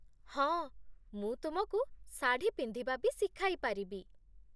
ହଁ, ମୁଁ ତୁମକୁ ଶାଢ଼ୀ ପିନ୍ଧିବା ବି ଶିଖାଇପାରିବି ।